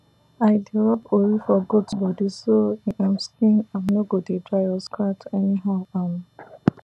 i dey rub ori for goat body so e um skin um no go dey dry or scratch anyhow um